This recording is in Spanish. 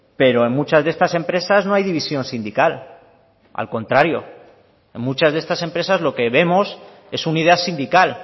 pero en muchas de estas empresas no hay división sindical al contrario en muchas de estas empresas lo que vemos es unidad sindical